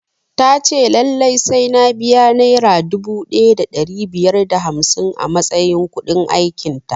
Ta ce lallai sai na biya nera dubu ɗaya da ɗari biyar da hamsin a matsayin kuɗin aikin ta